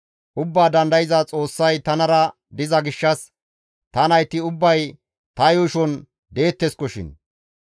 Ubbaa Dandayza Xoossay tanara diza gishshas ta nayti ubbay ta yuushon deetteskoshin.